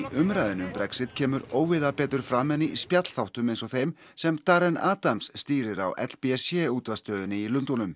umræðunni um Brexit kemur óvíða betur fram en í spjallþáttum eins og þeim sem Adams stýrir á l b c útvarpsstöðinni í Lundúnum